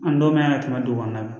An dɔw man yan ka tɛmɛ dugu kɔnɔna kan